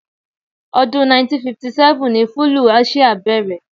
Ọdún 1957 ní fúlúù Aṣia bẹ̀rẹ̀.